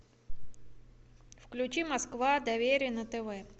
включи москва доверие на тв